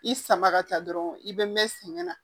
I sama ka taa dɔrɔn i bɛ mɛn sɛgɛn na